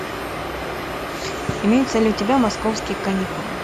имеются ли у тебя московские каникулы